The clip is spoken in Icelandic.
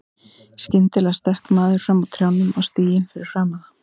Skyndilega stökk maður fram úr trjánum á stíginn fyrir framan þá.